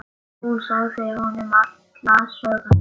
Hún sagði honum alla söguna.